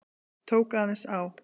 Tók aðeins á.